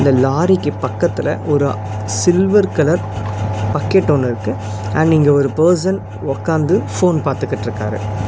லாரிக்கு பக்கத்துல ஒரு அ சில்வர் கலர் பக்கெட் ஒன்னு இருக்கு அண்ட் இங்க ஒரு பெர்சன் உக்காந்து ஃபோன் பாத்துகிட்ருக்காரு.